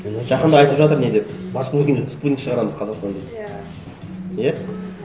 жақында айтып жатыр не деп спутник шығарамыз қазақстанда иә иә